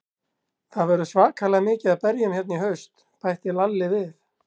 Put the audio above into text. Það verður svakalega mikið af berjum hérna í haust, bætti Lalli við.